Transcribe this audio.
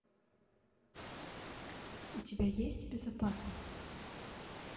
у тебя есть безопасность